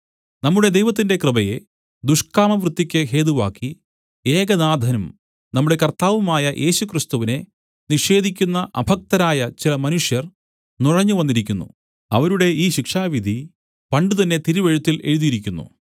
നമ്മുടെ ദൈവത്തിന്റെ കൃപയെ ദുഷ്കാമവൃത്തിക്ക് ഹേതുവാക്കി ഏകനാഥനും നമ്മുടെ കർത്താവുമായ യേശുക്രിസ്തുവിനെ നിഷേധിക്കുന്ന അഭക്തരായ ചില മനുഷ്യർ നുഴഞ്ഞ് വന്നിരിക്കുന്നു അവരുടെ ഈ ശിക്ഷാവിധി പണ്ടുതന്നെ തിരുവെഴുത്തില്‍ എഴുതിയിരിക്കുന്നു